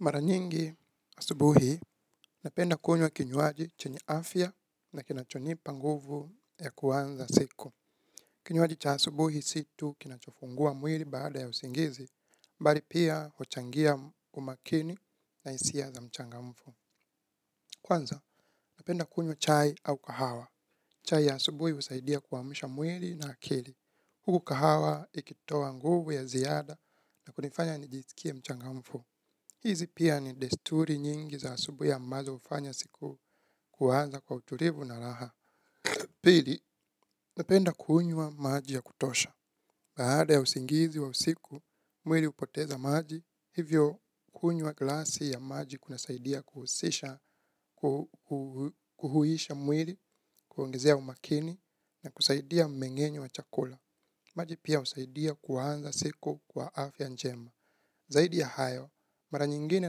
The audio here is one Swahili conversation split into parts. Mara nyingi asubuhi, napenda kunywa kinywaji chenye afya na kinachonipa nguvu ya kuanza siku. Kinywaji cha asubuhi si tu kinachofungua mwili baada ya usingizi, mbali pia huchangia umakini na isia za mchangamfu. Kwanza, napenda kunywa chai au kahawa. Chai ya asubuhi husaidia kuamsha mwili na akili. Huku kahawa ikitoa nguvu ya ziada na kunifanya nijisikie mchangamfu. Hizi pia ni desturi nyingi za asubui ya ambazo hufanya siku kuanza kwa uturivu na raha. Pili, napenda kunywa maji ya kutosha. Baada ya usingizi wa usiku, mwili upoteza maji. Hivyo, kunywa glasi ya maji kunasaidia kuhusisha kuhuisha mwili, kuongezea umakini na kusaidia mmeng'enyo wa chakula. Maji pia usaidia kuanza siku kwa afya njema. Zaidi ya hayo, mara nyingine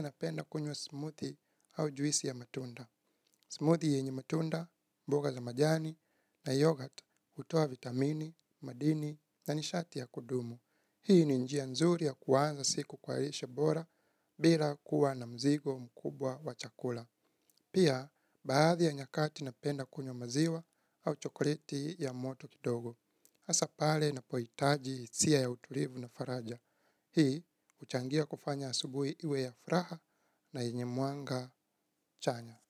napenda kunywa smoothie au juisi ya matunda. Smoothie yenye matunda, mboga za majani na yoghurt hutoa vitamini, madini na nishati ya kudumu. Hii ni njia nzuri ya kuanza siku kwa rishe bora bila kuwa na mzigo mkubwa wa chakula. Pia, baadhi ya nyakati napenda kunywa maziwa au chokoleti ya moto kidogo. Asa pale napoitaji isia ya utulivu na faraja. Hii, huchangia kufanya asubui iwe ya fraha na yenye mwanga chanya.